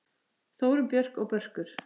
Þórunn Björk og Börkur.